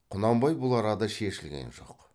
құнанбай бұл арада шешілген жоқ